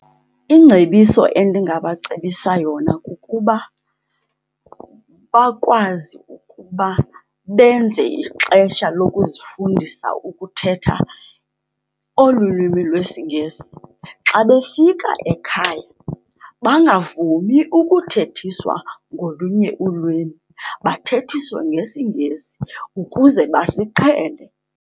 Ingcebiso endingabacebisa yona kukuba bakwazi ukuba benze ixesha lokuzifundisa ukuthetha olu lwimi lwesiNgesi. Xa befika ekhaya bangavumi ukuthethiswa ngolunye ulwimi, bathethiswe ngesiNgesi ukuze basiqhele.